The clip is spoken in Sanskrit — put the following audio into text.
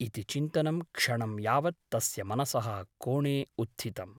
इति चिन्तनं क्षणं यावत् तस्य मनसः कोणे उत्थितम् ।